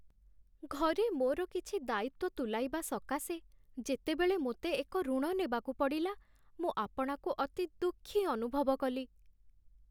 ଘରେ ମୋର କିଛି ଦାୟିତ୍ୱ ତୁଲାଇବା ସକାଶେ, ଯେତେବେଳେ ମୋତେ ଏକ ଋଣ ନେବାକୁ ପଡ଼ିଲା, ମୁଁ ଆପଣାକୁ ଅତି ଦୁଃଖୀ ଅନୁଭବ କଲି।